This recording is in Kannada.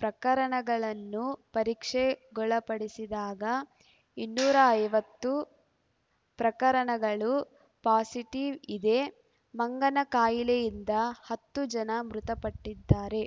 ಪ್ರಕರಣಗಳನ್ನು ಪರೀಕ್ಷೆಗೊಳಪಡಿಸಿದಾಗ ಇನ್ನೂರ ಐವತ್ತು ಪ್ರಕರಣಗಳು ಪಾಸಿಟೀವ್ ಇದೆ ಮಂಗನ ಖಾಯಿಲೆಯಿಂದ ಹತ್ತು ಜನ ಮೃತಪಟ್ಟಿದ್ದಾರೆ